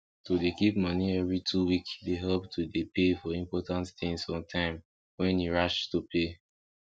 to dey keep moni every two week dey help to dey pay for important tins on time wen e rach to pay